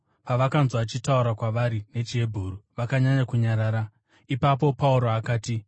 Pavakanzwa achitaura kwavari nechiHebheru, vakanyanya kunyarara. Ipapo Pauro akati,